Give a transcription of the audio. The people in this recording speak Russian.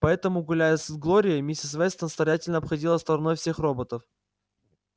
поэтому гуляя с глорией миссис вестон старательно обходила стороной всех роботов